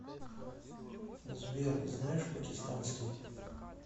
сбер знаешь пакистанский